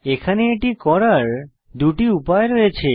এখানে এটি করার দুটি উপায় রয়েছে